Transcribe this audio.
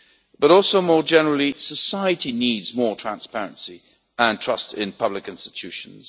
But also, more generally, society needs more transparency and trust in public institutions.